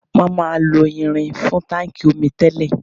Wọn máà ń lo irin fún táńkì omi tẹ́lẹ̀.